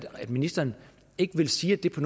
at ministeren ikke vil sige at det på